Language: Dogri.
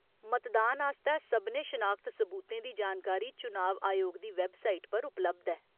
मतदान आस्तै सभनें शनाखत सबूतें दी जानकारी चुनाव आयोग दी वैबसाइट पर उपलब्ध ऐ।